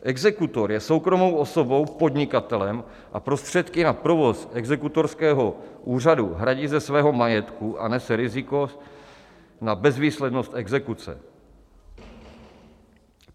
Exekutor je soukromou osobou, podnikatelem, a prostředky na provoz exekutorského úřadu hradí ze svého majetku a nese riziko na bezvýslednost exekuce.